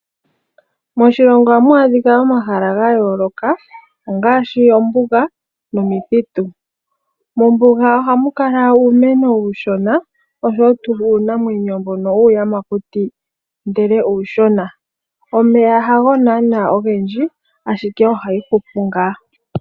Moshilongo ohamu a dhika omahala ga yooloka ngaashi ombuga nomithitu mombuga ohamu kala uumeno uushona oshowo tuu uunamwenyo mbono wuuyamakuti ashike uushona. Omeya hago naa ogendji ashike ohayi hupu ngaa.